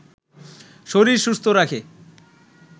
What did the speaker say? শরীর সুস্থ রাখে